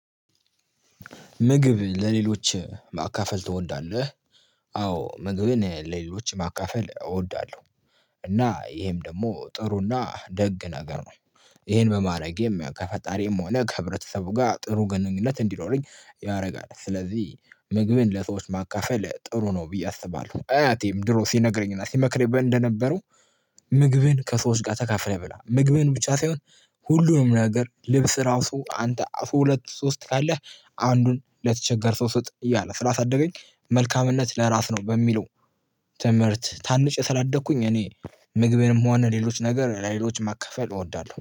ምግብ ለሌሎች ማካፈል ትወዳለህ። አዎ ምግብን ለሌሎች ማካፈል እወዳለሁ። እና ይሄም ደግሞ ጥሩና ደግ ነገር ነው። ይሄን በማድረጌም ከፈጣሪም ሆነ ከህብረተሰቡ ጋር ጥሩ ግንኙነት እንዲኖረኝ ያደርጋል። ስለዚህ ምግብን ለሰዎች ማካፈል ጥሩ ነው ብዬ አስባለሁ። አያቴም ድሮ ሲነግረኝና ሲመክረኝ እንደነበረው ምግቤን ከሰዎች ጋር ተካፍለህ ብላ። ምግብን ብቻ ሳይሆን ሁሉንም ነገር ልብስ ራሱ አንተ ሁለት ሶስት ካለህ አንዱን ለተቸገርክ ሰው ስጥ እያለ ስላሳደገኝ መልካምነት ለራስ ነው በሚለው ትምህርት ታንጬ ስላደኩኝ እኔ ምግቤንም ሆነ ሌሎች ነገር ለሌሎች ማከፋፈል እወዳለሁ